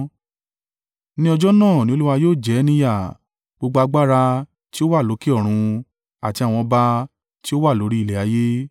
Ní ọjọ́ náà ni Olúwa yóò jẹ ẹ́ ní yà gbogbo agbára tí ó wà lókè lọ́run àti àwọn ọba tí ó wà lórí ilẹ̀ ayé.